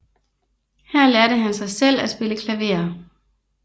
Her lærte han sig selv at spille klaver